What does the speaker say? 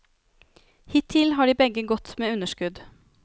Hittil har de begge gått med underskudd.